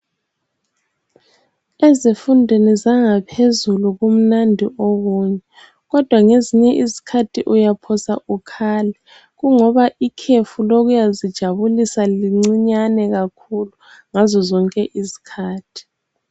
Ezifundweni zangaphezulu kumnandi okunye kodwa ngezinye izikhathi uyaphosa ukhale, kungoba ikhefu lokuyazijabulisa lincinyane kakhulu ngazozonke izikhathi.